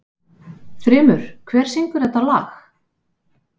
Þrymur, hver syngur þetta lag?